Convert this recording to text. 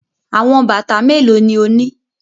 Awọn bata melo ni o ni?